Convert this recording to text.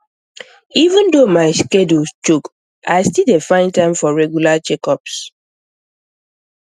even though my schedule choke i still dey find time for regular checkups